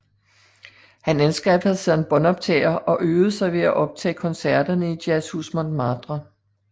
Han anskaffede sig en båndoptager og øvede sig ved at optage koncerterne i Jazzhus Montmartre